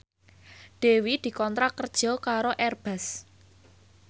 Dewi dikontrak kerja karo Airbus